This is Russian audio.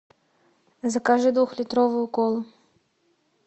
закажи двухлитровую колу